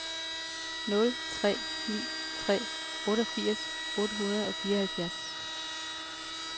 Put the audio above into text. nul tre ni tre otteogfirs otte hundrede og fireoghalvfjerds